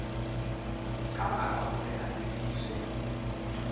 ka baka hore a lefiswe